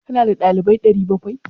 Ka na da dalibai 700?